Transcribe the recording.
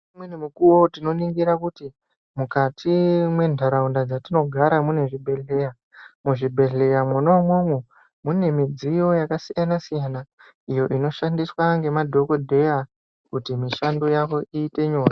Umweni mukuwo tinoningira kuti mukati mwenharaunda dzatinogara munezvibhehleya ,muzvibhehleya mwona umwomwo mune midziyo yakasiyanasiyana inoshandiswa ngemadhokodheya kuti mishando yawo ite nyore.